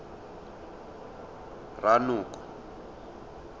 ranoko